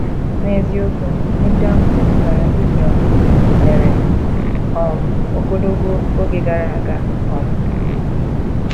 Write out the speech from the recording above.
N’eziokwu, ihe ndị ahụ metụtara Gidiọn mere um ogologo oge gara aga um.